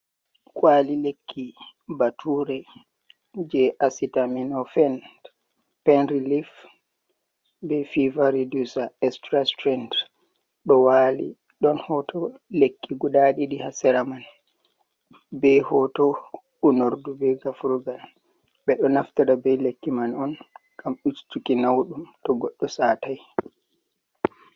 Kwali lekki bature je asitaminofen penrilif be fiva redusa extrastrend do wali don hoto lekki guda didi hasera man be hoto unordu be gafurgal bedo naftira be lekki man on gam ustuki naudum to goddo satai.